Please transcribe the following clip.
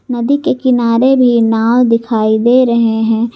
नदी के किनारे भी नाव दिखाई दे रहे हैं।